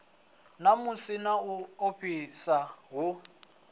namusi na u ofhisa hu